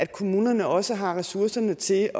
kommuner også har ressourcerne til